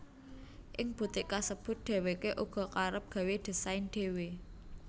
Ing butik kasebut dheweké uga kerep gawé désain dhewe